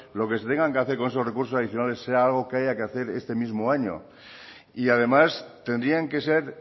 lo que se tenga que hacer con esos recursos adicionales sea algo que haya que hacer este mismo año y además tendrían que ser